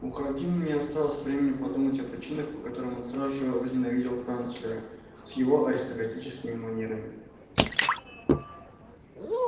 у хардина не осталось времени подумать о причинах по которым он сразу же возненавидел канцлера с его аристократическими манерами